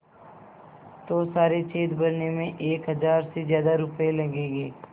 तो सारे छेद भरने में एक हज़ार से ज़्यादा रुपये लगेंगे